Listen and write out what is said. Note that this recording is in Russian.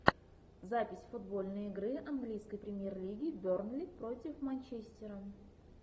запись футбольной игры английской премьер лиги бернли против манчестера